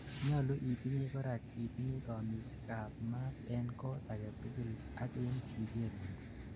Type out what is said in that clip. nyalu itinyei korak itinyei kamisik ab maat en kot agetugul ak en chiketngung